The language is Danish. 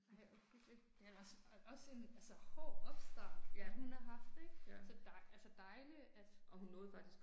Ej hvor hyggeligt, men også også en altså hård opstart hun har haft ikke, så dej altså dejligt at